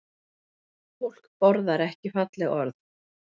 Fólk borðar ekki falleg orð